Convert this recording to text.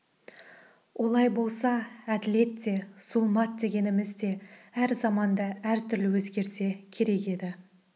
олай болса әділет те зұлмат дегеніміз де әр заманда әр түрлі өзгерсе керек еді